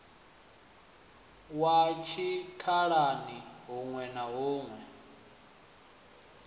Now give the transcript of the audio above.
wa tshikhalani huṋwe na huṋwe